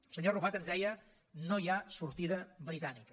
el senyor arrufat ens deia no hi ha sortida britànica